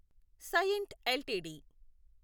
Cyient LTD